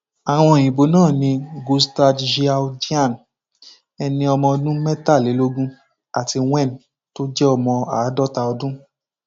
àwọn òyìnbó náà ni gustas zhou jíán ẹni ọdún mẹtàlélógún àti wen tó jẹ ọmọ àádọta ọdún